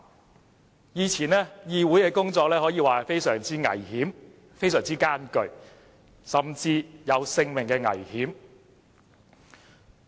在以前，議會的工作可說相當危險和艱巨，甚至會有性命危險。